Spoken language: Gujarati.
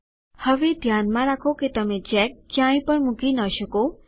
000231 000229 હવે ધ્યાનમાં રાખો કે તમે ચેક ક્યાંપણ મૂકી ન શકો